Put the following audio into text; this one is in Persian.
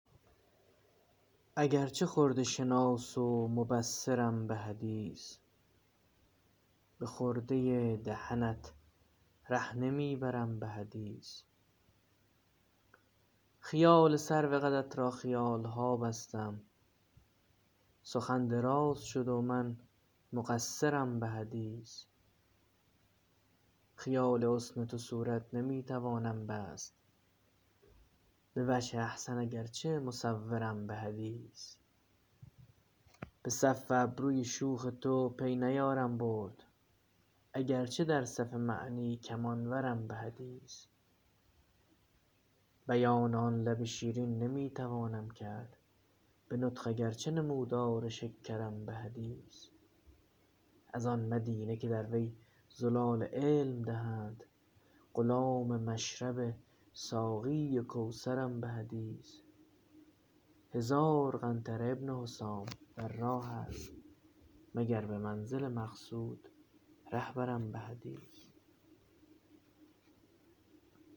اگر چه خرده شناس و مبصرم به حدیث به خرده دهنت ره نمی برم به حدیث خیال سرو قدت را خیال ها بستم سخن دراز شد و من مقصرم به حدیث خیال حسن تو صورت نمی توانم بست به وجه احسن اگر چه مصورم به حدیث به صف ابروی شوخ تو پی نیارم برد اگر چه در صف معنی کمان ورم به حدیث بیان آن لب شیرین نمی توانم کرد به نطق اگر چه نمودار شکرم به حدیث از آن مدینه که در وی زلال علم دهند غلام مشرب ساقی کوثرم به حدیث هزار قنطره ابن حسام در راه است مگر به منزل مقصود ره برم به حدیث